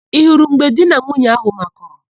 Ị hụrụ mgbe di na nwunye áhụ̀ makụrụ?